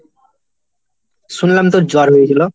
শুনলাম তোর জ্বর হয়েছিল?